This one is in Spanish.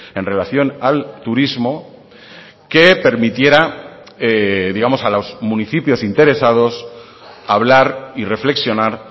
en relación al turismo que permitiera digamos a los municipios interesados hablar y reflexionar